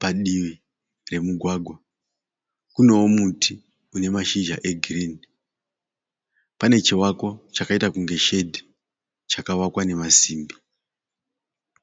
padivi pemugwagwa. Kunowo muti une mashizha egirinhi. Pane chivako chakaita kunge shedhi chakavakwa nemasimbi.